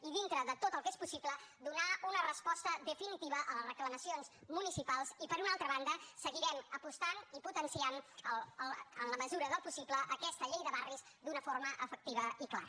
i dintre de tot el que és possible donar una resposta definitiva a les reclamacions municipals i per una altra banda seguirem apostant i potenciant en la mesura del possible aquesta llei de barris d’una forma efectiva i clara